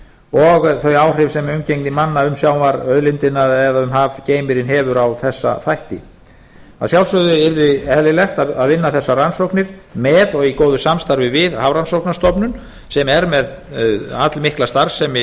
og þau áhrif sem umgengni manna um sjávarauðlindina eða hafgeym hefur á þessa þætti að sjálfsögðu yrði eðlilegt að vinna þessar rannsóknir með og í góðu samstarfi við hafrannsóknastofnun sem er með allmikla starfsemi